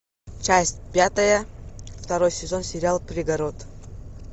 часть пятая второй сезон сериал пригород